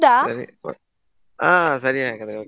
ಹಾ ಸರಿ ಹಾಗಾದ್ರೆ okay .